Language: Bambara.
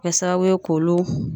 Kɛ sababu ye k'olu